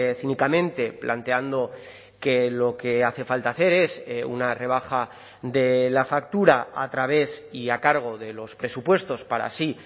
cínicamente planteando que lo que hace falta hacer es una rebaja de la factura a través y a cargo de los presupuestos para así